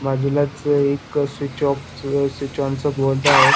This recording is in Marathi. बाजूलाच एक स्विच ऑफ स्विच ऑन च बोर्ड आहे.